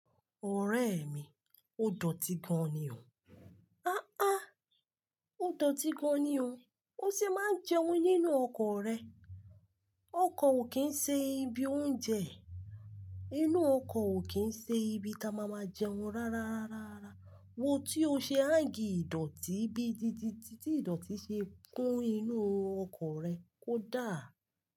Ọ̀rẹ́ mi, o dọ̀tí gan-an ni o. A a, o dọ̀tí gan-an ni o. O sì máa ń jẹun nínú ọkọ rẹ. Oko okin ṣe ibi oúnjẹ. Inú ọkọ ò kí ń ṣe ibi tí a máa máa jẹun rárárárárárá. Wo tí o ṣe hang ìdọ̀tí bíi tí-tí-tí-tí ìdọ̀tí ṣe kún inú ọkọ rẹ kó dá.